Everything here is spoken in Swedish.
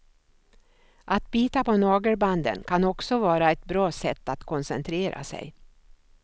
Att bita på nagelbanden kan också vara ett bra sätt att koncentrera sig.